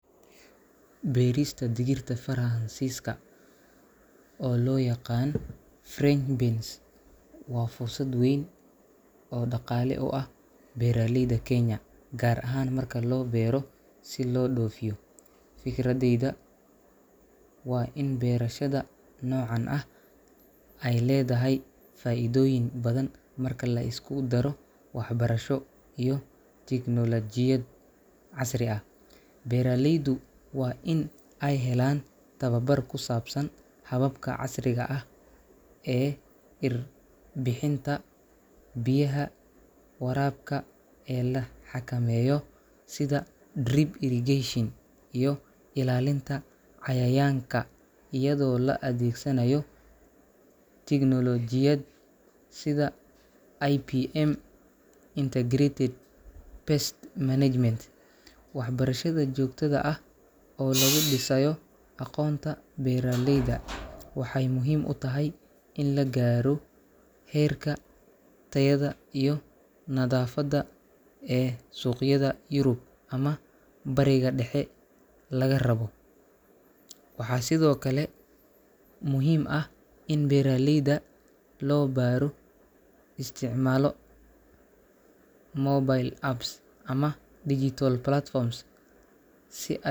Beerista digirta Faraansiiska, oo loo yaqaan French beans, waa fursad weyn oo dhaqaale u ah beeraleyda Kenya, gaar ahaan marka loo beero si loo dhoofiyo. Fikradeyda waa in beerashada noocan ah ay leedahay faa’iidooyin badhan marka la isku daro waxbarasho iyo tignoolajiyad casri ah. Beeraleydu waa in ay helaan tababar ku saabsan hababka casriga ah ee irbixinta, biyaha waraabka ee la xakameeyo sida drip irrigation, iyo ilaalinta cayayaanka iyadoo la adeegsanayo tignoolajiyad sida IPM (Integrated Pest Management). Waxbarashada joogtada ah oo lagu dhisayo aqoonta beeraleyda waxay muhiim u tahay in la gaaro heerka tayadha iyo nadaafadda ee suuqyada Yurub ama Bariga Dhexe laga rabo. Waxaa sidoo kale muhiim ah in beeraleyda loo baaro isticmaalo mobile apps ama digital platforms si ay.